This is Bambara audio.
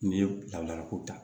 N'i ye labilako ta